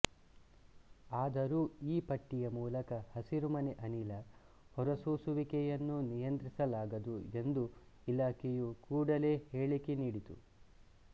ಆದರೂ ಈ ಪಟ್ಟಿಯ ಮೂಲಕ ಹಸಿರುಮನೆ ಅನಿಲ ಹೊರಸೂಸುವಿಕೆಯನ್ನು ನಿಯಂತ್ರಿಸಲಾಗದು ಎಂದು ಇಲಾಖೆಯು ಕೂಡಲೇ ಹೇಳಿಕೆ ನೀಡಿತು